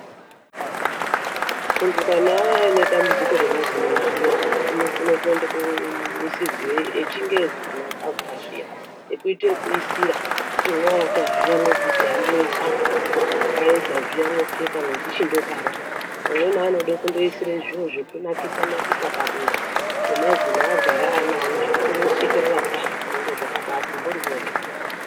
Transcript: Muntu kana aine dambudziko remazino zviya unokone kuende koisirwe echingezi kana akabva zviya, ekuite ekuisira, kuti mwooata zviya mwobvisa moisa apo. Kwaedza zviya mopfeka, mechichindodaro. Vamweni vanode kundoise zviro zvekunakisa-nakisa padera pemazino aagara anawo zvekuti kana wosekerera kudai zvinenge zvakabati mhoryo.